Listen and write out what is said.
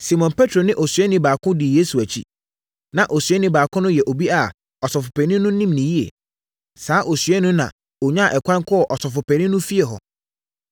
Simon Petro ne osuani baako dii Yesu akyi. Na osuani baako no yɛ obi a ɔsɔfopanin no nim no yie. Saa osuani no na ɔnyaa ɛkwan kɔɔ ɔsɔfopanin no efie hɔ.